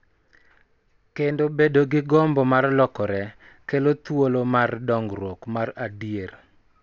Kendo bedo gi gombo mar lokore, kelo thuolo mar dongruok mar adier .